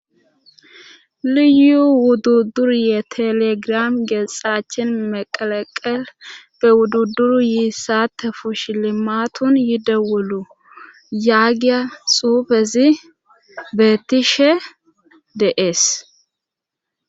Liyu wudduduruye telegiram geexaachin meqaleqel be wudduduru yiissatte fush limatun yide wulu yaagiya suufezi beetishe de'ees.